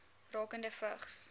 rakende vigs